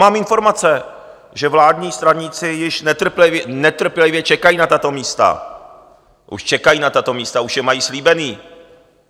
Mám informace, že vládní straníci již netrpělivě čekají na tato místa, už čekají na tato místa, už je mají slíbená.